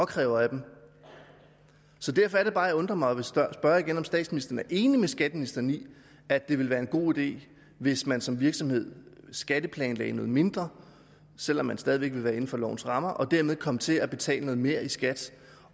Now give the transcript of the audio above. kræver af dem derfor er det bare jeg undrer mig og vil spørge igen om statsministeren er enig med skatteministeren i at det ville være en god idé hvis man som virksomhed skatteplanlagde noget mindre selv om man stadig væk ville være inden for lovens rammer og dermed kom til at betale noget mere i skat